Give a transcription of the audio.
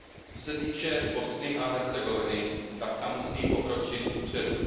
Co se týče Bosny a Hercegoviny, tak ta musí pokročit kupředu.